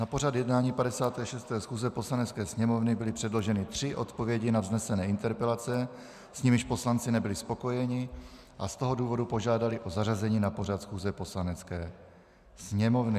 Na pořad jednání 56. schůze Poslanecké sněmovny byly předloženy tři odpovědi na vznesené interpelace, s nimiž poslanci nebyli spokojeni, a z toho důvodu požádali o zařazení na pořad schůze Poslanecké sněmovny.